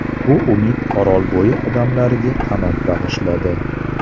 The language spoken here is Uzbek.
Bu umid Orolbo‘yi odamlariga qanot bag‘ishladi.